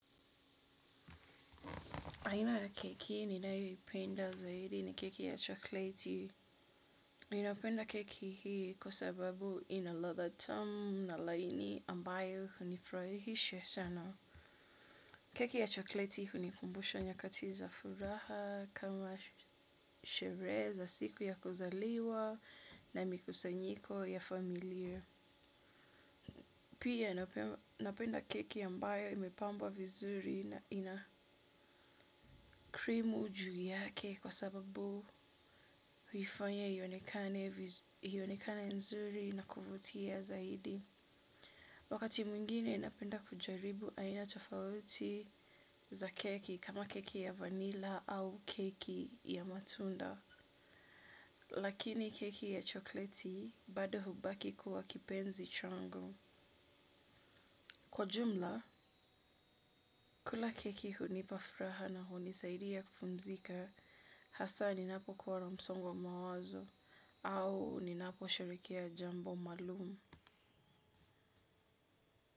Aina ya keki ninayoipenda zaidi ni keki ya chokleti. Nina penda keki hii kwa sababu ina ladha tamu na laini ambayo hunifurahisha sana. Keki ya chokleti hunikumbusha nyakati za furaha kama sherehe za siku ya kuzaliwa na mikusanyiko ya familia. Pia napenda keki ambayo imepambwa vizuri na ina krimu juu yake kwa sababu huifanya ionekane nzuri na kuvutia zaidi. Wakati mwingine napenda kujaribu aina tofauti za keki kama keki ya vanila au keki ya matunda. Lakini keki ya chokleti bado hubaki kuwa kipenzi changu. Kwa jumla, kula keki hunipa furaha na hunisaidia kupumzika hasa ninapo kuwa msongo wa mawazo au ninapo sherehekea jambo maalum.